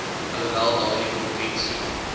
alhoewel daardie konvensie